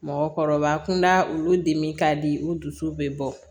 Mɔgɔkɔrɔba kunda olu de ka di u dusu bɛ bɔ